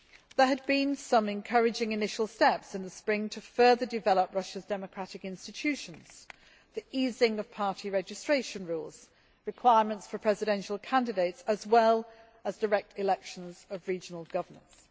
There had been some encouraging initial steps in the spring towards further development of Russia's democratic institutions, notably the easing of party registration rules and requirements for presidential candidates, as well as direct elections of regional governors.